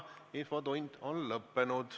Infotund on lõppenud.